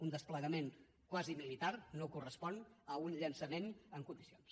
un desplegament quasi militar no correspon a un llançament en condicions